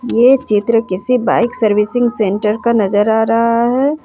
ये चित्र किसी बाइक सर्विसिंग सेंटर का नजर आ रहा है।